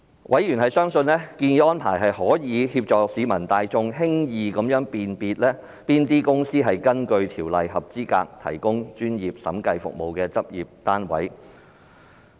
委員相信，建議的安排可協助市民大眾輕易識別哪些公司屬根據《條例》合資格提供專業審計服務的執業單位。